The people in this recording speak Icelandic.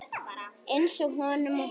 Einsog honum um hana.